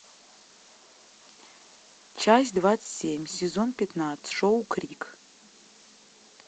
часть двадцать семь сезон пятнадцать шоу крик